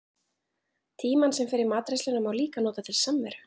Tímann sem fer í matreiðsluna má líka nota til samveru.